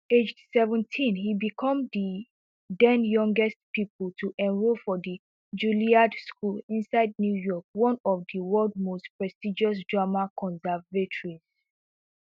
aged seventeen e become di denyoungest pupil to enrol for di julliard school inside new york one of di world most prestigious drama conservatories